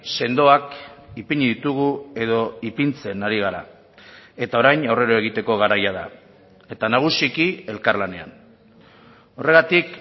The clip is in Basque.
sendoak ipini ditugu edo ipintzen ari gara eta orain aurrera egiteko garaia da eta nagusiki elkarlanean horregatik